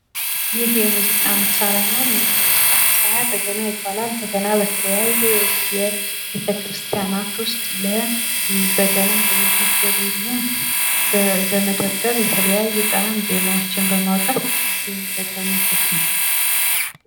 ይህ የሙዚቃ መሳሪያ ነው። ይሀ መሳሪያ በገና ይባላል። የተለያዩ ቤተ ክርስቲያናት ውስጥ በገና በመደርደር የተለያዩ ጣዕም ዜማዎችን በማውጣት የሚጠቀሙበት ነው።